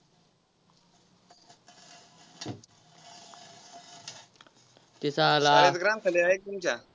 शाळेत ग्रंथालय आहे का तुमच्या?